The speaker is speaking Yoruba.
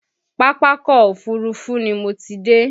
Pápákọ̀ Òfurufú ni mo ti dé